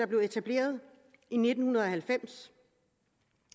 blev etableret i nitten halvfems